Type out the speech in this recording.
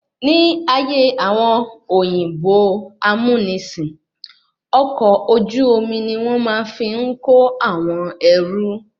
Ní ayé àwọn òyìnbó amúnisìn, ọkọ̀ ojú omi ni wọ́n máa ń fi ń kó àwọn ẹrú